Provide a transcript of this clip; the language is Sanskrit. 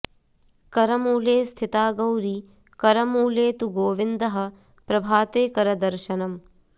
करमूले स्थिरा गौरी करमूले तु गोविन्दः प्रभाते करदर्शनम्